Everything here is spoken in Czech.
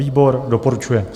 Výbor doporučuje.